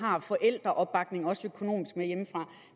har forældreopbakning hjemmefra også økonomisk men